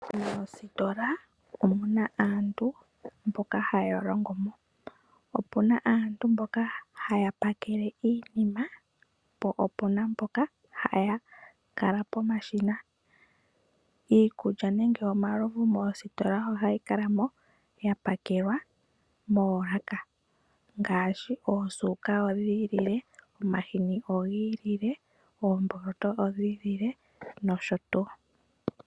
Moositola omu na aantu mboka haya longo mo, opu na aantu mboka haya pakele iinima po, opu na mboka haya kala pomashina. Iikulya nenge omalovu moositola ohayi kala mo ya pakelwa moolaka ngaashi: oosuka odhiilile, omahini odhi ilile, oomboloto odhi ilile nosho tu.